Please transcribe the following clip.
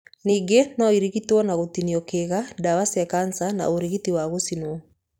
Ningĩ no ĩrigitwo na gũtinio kĩga, ndawa cia kanca na ũrigitani wa gũcinwo.